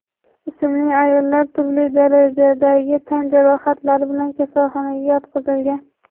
ismli ayollar turli darajadagi tan jarohatlari bilan kasalxonaga yotqizilgan.